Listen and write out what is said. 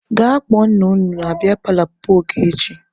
Gaa kpọọ nna unu na biya paalọ papa Ogechi!